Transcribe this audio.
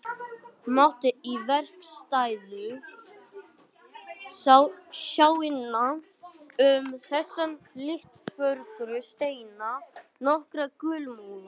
Mátti í verkstæðinu sjá innan um þessa litfögru steina nokkra gullmola.